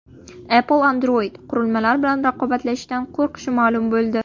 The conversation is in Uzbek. Apple Android-qurilmalar bilan raqobatlashishdan qo‘rqishi ma’lum bo‘ldi.